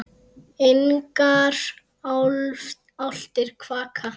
Engar álftir kvaka.